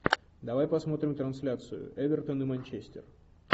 давай посмотрим трансляцию эвертон и манчестер